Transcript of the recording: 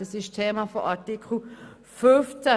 Das ist Thema von Artikel 15.